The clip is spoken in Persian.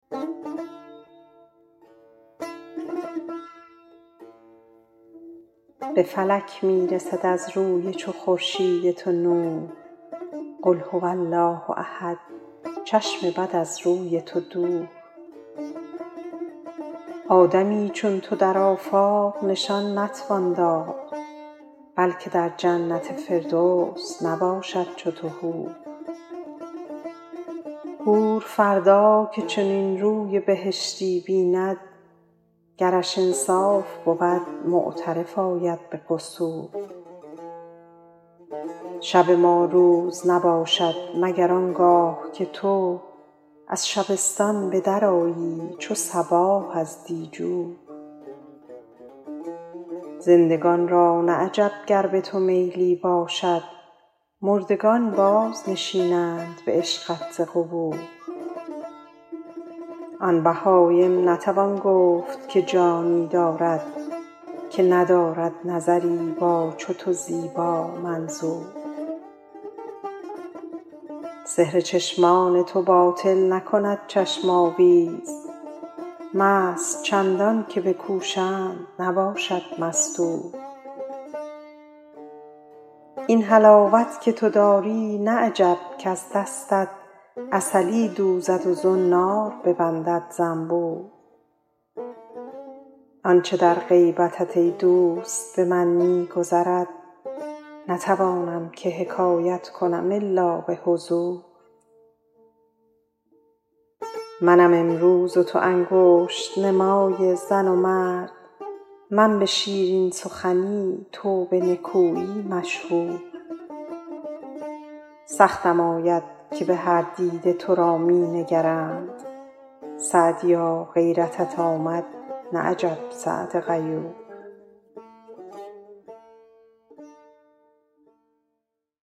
به فلک می رسد از روی چو خورشید تو نور قل هو الله احد چشم بد از روی تو دور آدمی چون تو در آفاق نشان نتوان داد بلکه در جنت فردوس نباشد چو تو حور حور فردا که چنین روی بهشتی بیند گرش انصاف بود معترف آید به قصور شب ما روز نباشد مگر آن گاه که تو از شبستان به درآیی چو صباح از دیجور زندگان را نه عجب گر به تو میلی باشد مردگان بازنشینند به عشقت ز قبور آن بهایم نتوان گفت که جانی دارد که ندارد نظری با چو تو زیبامنظور سحر چشمان تو باطل نکند چشم آویز مست چندان که بکوشند نباشد مستور این حلاوت که تو داری نه عجب کز دستت عسلی دوزد و زنار ببندد زنبور آن چه در غیبتت ای دوست به من می گذرد نتوانم که حکایت کنم الا به حضور منم امروز و تو انگشت نمای زن و مرد من به شیرین سخنی تو به نکویی مشهور سختم آید که به هر دیده تو را می نگرند سعدیا غیرتت آمد نه عجب سعد غیور